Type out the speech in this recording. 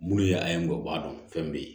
Munnu ye a ye ngɔlɔbɛ b'a dɔn fɛn bɛ yen